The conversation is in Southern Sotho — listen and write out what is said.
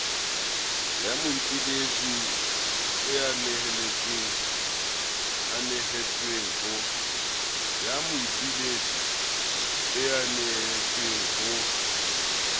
ya moipiletsi e nehetsweng ho